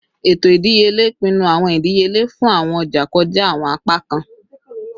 Eto idiyele pinnu awọn idiyele fun awọn ọja kọja awọn apakan